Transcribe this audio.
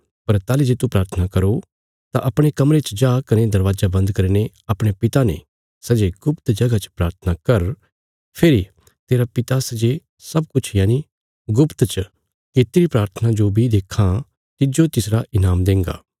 पर ताहली जे तू प्राथना करो तां अपणे कमरे च जा कने दरवाजा बन्द करीने अपणे पिता ने सै जे गुप्त जगह चा प्राथना कर फेरी तेरा पिता सै जे सब किछ यनि गुप्त च कित्तिरी प्राथना जो बी देक्खां तिज्जो तिसरा ईनाम देंगा